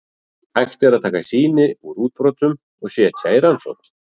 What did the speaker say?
Hægt er að taka sýni úr útbrotunum og setja í rannsókn.